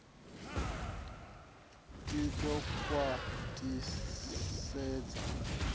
i d o khwat hisedza